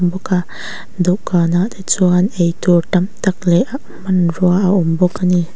bawka dawhkanah te chuan ei tur tam tak leh ah hmanrua a awm bawk a ni.